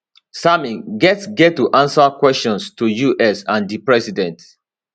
sammy get get to answer questions to us and di president